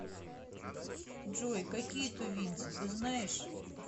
джой какие тувинцы ты знаешь